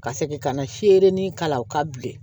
Ka segin ka na se ni k'a la u ka bilen